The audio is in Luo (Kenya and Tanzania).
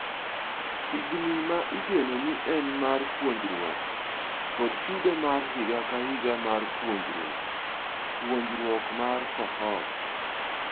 Higni ma igeno ni en mar puonjruok kod chudo mar higa kahiga mar puonjruok ,puonjruok mar cohort.